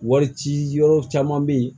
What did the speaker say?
Wari ci yɔrɔ caman be yen